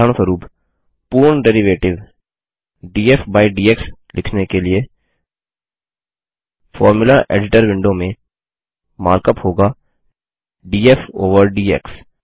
उदाहरणस्वरुप पूर्ण derivative df by dx लिखने के लिए फॉर्मुला एडिटर विंडो में मार्क अप होगा डीएफ ओवर डीएक्स